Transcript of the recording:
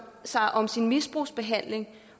sig om sin misbrugsbehandling